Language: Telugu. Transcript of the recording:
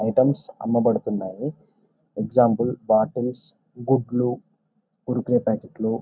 ఐటమ్స్ అమ్మబడుతున్నాయి. ఎగ్జాంపుల్ బాటిల్స్ గుడ్లు కురుకురే ప్యాకెట్లు --